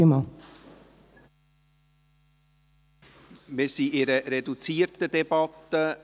Wir befinden uns in einer reduzierten Debatte.